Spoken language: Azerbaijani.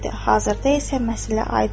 Hazırda isə məsələ aydındır.